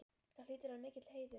Það hlýtur að vera mikill heiður?